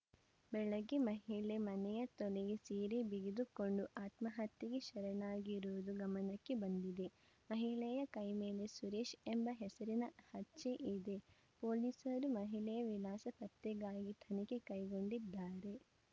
ಬೆಳಗ್ಗೆ ಮಹಿಳೆ ಮನೆಯ ತೊಲೆಗೆ ಸೀರೆ ಬಿಗಿದುಕೊಂಡು ಆತ್ಮಹತ್ಯೆಗೆ ಶರಣಾಗಿರುವುದು ಗಮನಕ್ಕೆ ಬಂದಿದೆ ಮಹಿಳೆಯ ಕೈ ಮೇಲೆ ಸುರೇಶ್‌ ಎಂಬ ಹೆಸರಿನ ಹಚ್ಚೆ ಇದೆ ಪೊಲೀಸರು ಮಹಿಳೆಯ ವಿಳಾಸ ಪತ್ತೆಗಾಗಿ ತನಿಖೆ ಕೈಗೊಂಡಿದ್ದಾರೆ